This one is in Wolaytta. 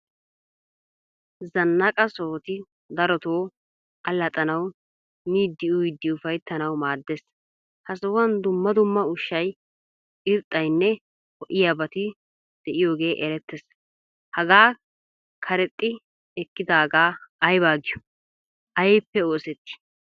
Zannaqa sohoti darotto allaxanawu, miidi uyidi uffayttanawu maadees. Ha sohuwan dumma dumma ushshay irxxaynne ho"iyabati deiyoge eretees. Hagaa karexxi ekkidaga ayba giyo? Aybbippe oosetti?